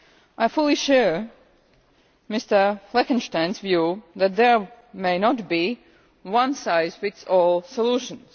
I fully share Mr Fleckenstein's view that there may not be one size fits all solutions.